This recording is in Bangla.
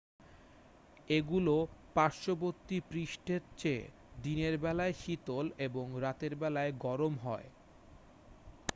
"""এগুলো পার্শ্ববর্তী পৃষ্ঠের চেয়ে দিনের বেলায় শীতল এবং রাতের বেলায় গরম হয়।